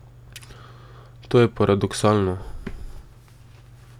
To je paradoksalno.